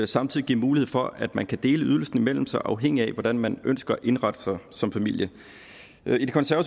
samtidig give mulighed for at man kan dele ydelsen imellem sig afhængigt af hvordan man ønsker at indrette sig som familie